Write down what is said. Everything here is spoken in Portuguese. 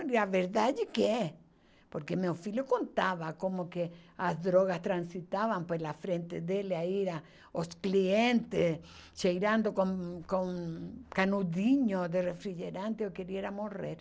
E a verdade é que é. Porque meu filho contava como que as drogas transitavam pela frente dele a ir aos clientes cheirando com com canudinho de refrigerante, eu queria era morrer.